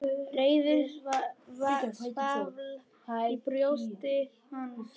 Reiðin svall í brjósti hans.